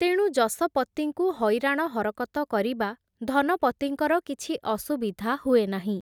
ତେଣୁ ଯଶପତିଙ୍କୁ, ହଇରାଣ ହରକତ କରିବା, ଧନପତିଙ୍କର କିଛି ଅସୁବିଧା ହୁଏ ନାହିଁ ।